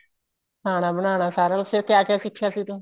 ਖਾਣਾ ਬਨਾਣਾ ਸਾਰਾ ਕੁੱਛ ਫ਼ੇਰ ਕਿਆ ਕਿਆ ਸਿੱਖਿਆ ਸੀ ਤੂੰ